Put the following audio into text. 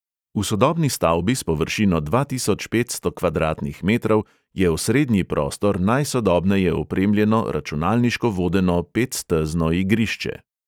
V sodobni stavbi s površino dva tisoč petsto kvadratnih metrov je osrednji prostor najsodobneje opremljeno, računalniško vodeno petstezno igrišče.